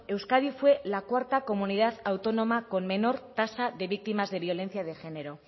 euskadi fue la cuarta comunidad autónoma con menor tasa de víctimas de violencia de género